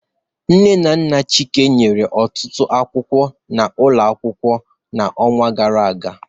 Nne na nna Chike nyere ọtụtụ akwụkwọ n'ụlọ akwụkwọ n'ọnwa gara aga